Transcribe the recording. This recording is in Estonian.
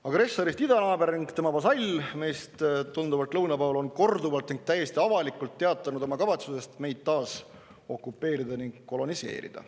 Agressorist idanaaber ning tema vasall, meist tunduvalt lõuna pool, on korduvalt ning täiesti avalikult teatanud oma kavatsusest meid taas okupeerida ning koloniseerida.